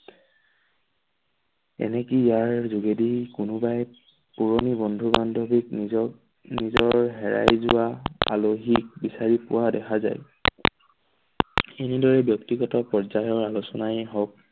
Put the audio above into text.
এনেকে ইয়াৰ যোগেদি কোনোবাই পুৰণি বন্ধু-বান্ধৱীক নিজৰ নিজৰ হেৰাই যোৱা আলহীক বিচাৰি পোৱা দেখা যায়। এনেদৰে ব্যক্তিগত পৰ্য্যায়ৰ আলোচনাই হওঁক